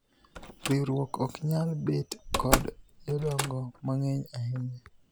riwruok ok nyal bet kod jodongo mang'eny ahinya